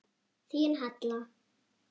Þín, Halla.